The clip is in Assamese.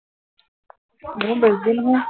মোৰ বেছি দূৰ নহয়